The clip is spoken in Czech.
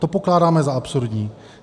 To pokládáme za absurdní.